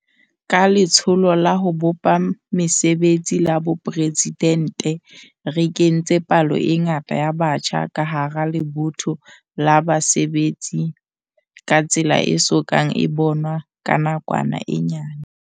Ka Letsholo la ho bopa Mesebetsi la Boporesidente re kentse palo e ngata ya batjha ka hara lebotho la basebetsi ka tsela e so kang e bonwa ka nakwana e nyane.